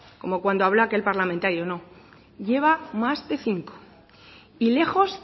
como cuando habló aquel parlamentario no lleva más de cinco y lejos